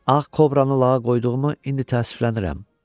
Ağ kobranı lağa qoyduğumu indi təəssüflənirəm.